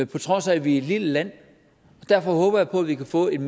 på trods af at vi er et lille land derfor håber jeg på vi kan få en